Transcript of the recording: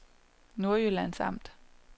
Nordjyllands Amt